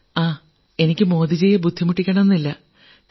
ങാ എനിക്ക് മോദിജിയെ ബുദ്ധിമുട്ടിക്കണമെന്നില്ല